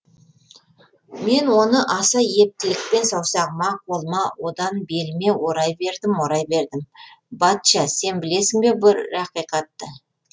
мен оны аса ептілікпен саусағыма қолыма одан беліме орай бердім орай бердім батча сен білесің бе бір ақиқатты